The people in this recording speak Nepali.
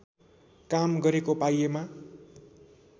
काम गरेको पाइएमा